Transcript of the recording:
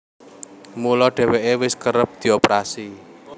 Mula dhèwèké wis kerep dioperasi